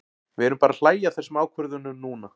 Við erum bara að hlæja að þessum ákvörðunum núna.